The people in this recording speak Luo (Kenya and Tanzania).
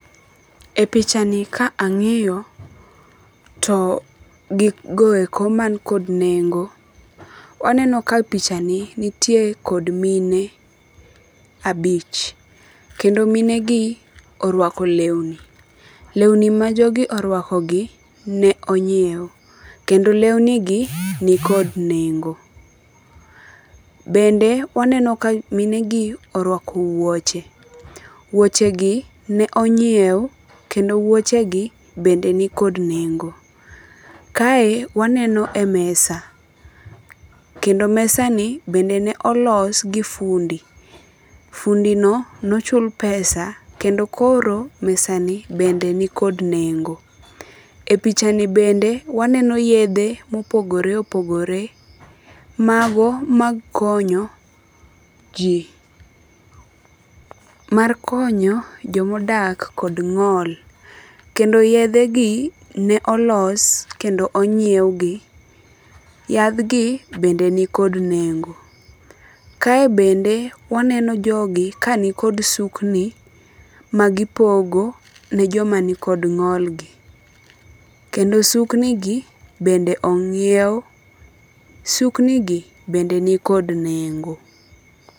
E picha ni ka ang'iyo to gigo eko man kod nengo, waneno ka picha ni nitie kod mine abich. Kendo mine gi orwako lewni. Lewni ma jogi orwako gi ne onyiew. Kendo lewni gi ni kod nengo. Bende waneno ka mine gi orwako wuoche. Wuoche gi ne onyiew kendo wuoche gi bende ni kod nengo. Kae waneno e mesa. Kendo mesa ni bende ne olos gi fundi. Fundi no nochul pesa kendo koro mesa ni bende ni kod nengo. E pichani bende maneno yedhe mopogore opogore. Mago mag konyo ji. Mar konyo jomadak kod ng'ol. Kendo yedhe gi ne olos kendo onyiew gi. Yadh gi be ni kod nengo. Kae bende waneno jogi ka ni kod sukni magipogo ne joma ni kod ng'ol gi . Kendo sukni gi bende ong'iew. Sukni gi bende ni kod nengo.